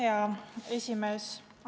Hea esimees!